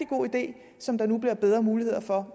god idé som der nu bliver bedre muligheder for